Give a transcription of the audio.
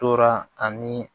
Tora ani